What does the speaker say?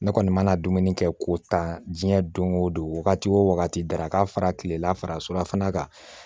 Ne kɔni mana dumuni kɛ k'o ta diɲɛ don o don wagati o wagati dara ka fara tilela fara kan